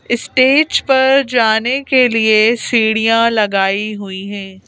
Stage पर जाने के लिए सीढ़ियाँ लगाई हुई हैं।